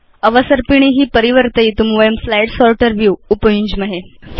अवसर्पिणी परिवर्तयितुं वयं स्लाइड् सोर्टर् व्यू उपयुञ्ज्महे